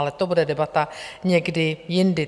Ale to bude debata někdy jindy.